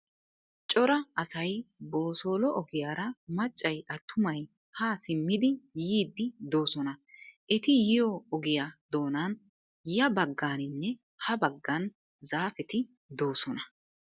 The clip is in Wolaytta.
Cora asay boosoolo ogiyaara maccay attumay haa simmidi yiiddi doosona. Eti yiyo ogiya doonan ya baggaaninne ha baggan zaafeti doosona.